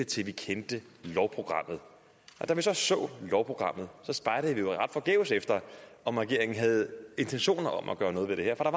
til vi kendte lovprogrammet og da vi så så lovprogrammet spejdede vi jo ret forgæves efter om regeringen havde intentioner om at gøre noget ved det her for